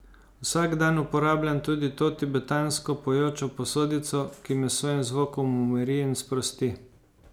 Vsak dan uporabljam tudi to tibetansko pojočo posodico, ki me s svojim zvokom umiri in sprosti.